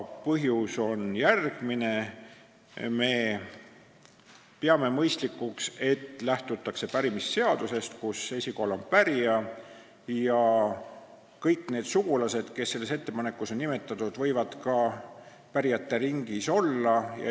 Põhjus on järgmine: me peame mõistlikuks, et lähtutakse pärimisseadusest, kus esikohal on pärija, ja kõik need sugulased, kes on selles ettepanekus nimetatud, võivad ka pärijate ringis olla.